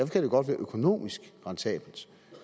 kan det godt være økonomisk rentabelt